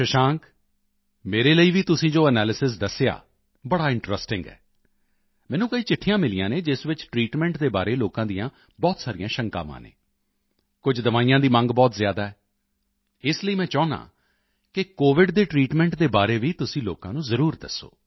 ਸ਼ਸ਼ਾਂਕ ਮੇਰੇ ਲਈ ਵੀ ਤੁਸੀਂ ਜੋ ਐਨਾਲਿਸਿਸ ਦੱਸਿਆ ਬੜਾ ਇੰਟਰੈਸਟਿੰਗ ਹੈ ਮੈਨੂੰ ਕਈ ਚਿੱਠੀਆਂ ਮਿਲੀਆਂ ਹਨ ਜਿਸ ਵਿੱਚ ਟ੍ਰੀਟਮੈਂਟ ਦੇ ਬਾਰੇ ਲੋਕਾਂ ਦੀਆਂ ਬਹੁਤ ਸਾਰੀਆਂ ਸ਼ੰਕਾਵਾਂ ਹਨ ਕੁਝ ਦਵਾਈਆਂ ਦੀ ਮੰਗ ਬਹੁਤ ਜ਼ਿਆਦਾ ਹੈ ਇਸ ਲਈ ਮੈਂ ਚਾਹੁੰਦਾ ਹਾਂ ਕਿ ਕੋਵਿਡ ਦੇ ਟ੍ਰੀਟਮੈਂਟ ਦੇ ਬਾਰੇ ਵੀ ਤੁਸੀਂ ਲੋਕਾਂ ਨੂੰ ਜ਼ਰੂਰ ਦੱਸੋ